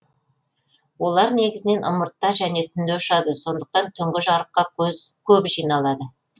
олар негізінен ымыртта және түнде ұшады сондықтан түнгі жарыққа көп жиналады